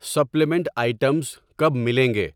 Supplement items کب ملیں گے؟